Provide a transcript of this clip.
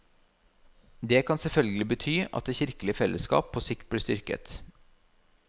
Det kan selvfølgelig bety at det kirkelige fellesskap på sikt blir styrket.